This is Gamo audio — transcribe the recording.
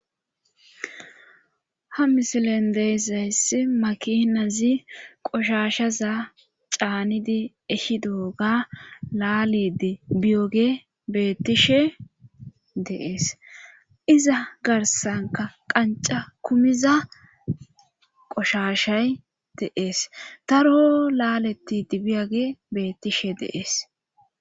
Ha misilen deezayssi makinazi qoshashaza caanidi eshido ga laalide biyoge beettishe deees iza garsanka qanca kumiza qoshashay deees taro laaleti dibiyage beettishe deees.